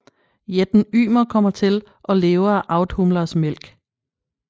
Jætten Ymer kommer til og lever af Audhumlas mælk